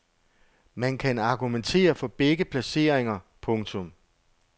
Man kan argumentere for begge placeringer. punktum